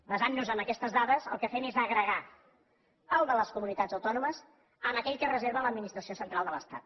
basant nos en aquestes dades el que fem és agregar el de les comunitats autònomes a aquell que es reserva l’administració central de l’estat